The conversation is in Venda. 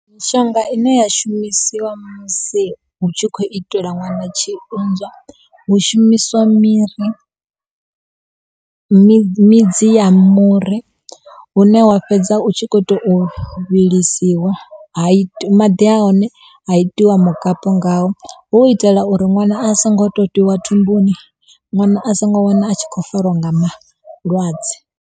Mishonga ine ya shumisiwa musi hu tshi khou itela ṅwana tshiunzwa hu shumiswa miri midzi ya muri hune wa fhedza u tshi kho tou vhilisiwa ha ita maḓi a hone haitiwa mukapu ngawo hu u itela uri ṅwana a songo to totiwa thumbuni ṅwana a songo wana a tshi khou fariwa nga malwadze.